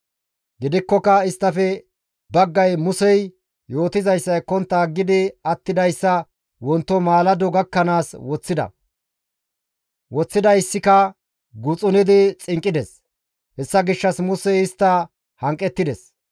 Gidikkoka isttafe baggay Musey yootizayssa ekkontta aggidi attidayssa wonto maalado gakkanaas woththida; woththidayssika guxunidi xinqqides. Hessa gishshas Musey istta hanqettides.